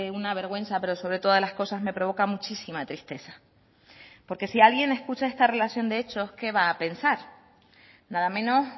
una vergüenza pero sobre todas las cosas me provoca muchísima tristeza porque si alguien escucha esta relación de hechos qué va a pensar nada menos